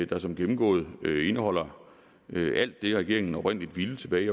der som gennemgået indeholder alt det regeringen oprindelig ville tilbage i